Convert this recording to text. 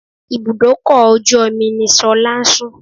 Ibùdókọ̀ ojú omi ni Ṣọlá ń sùn